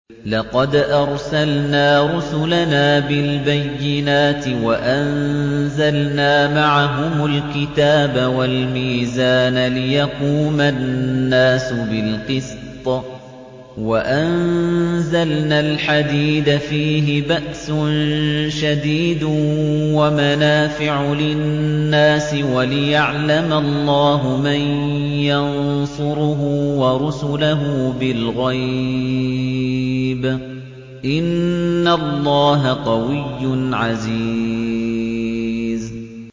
لَقَدْ أَرْسَلْنَا رُسُلَنَا بِالْبَيِّنَاتِ وَأَنزَلْنَا مَعَهُمُ الْكِتَابَ وَالْمِيزَانَ لِيَقُومَ النَّاسُ بِالْقِسْطِ ۖ وَأَنزَلْنَا الْحَدِيدَ فِيهِ بَأْسٌ شَدِيدٌ وَمَنَافِعُ لِلنَّاسِ وَلِيَعْلَمَ اللَّهُ مَن يَنصُرُهُ وَرُسُلَهُ بِالْغَيْبِ ۚ إِنَّ اللَّهَ قَوِيٌّ عَزِيزٌ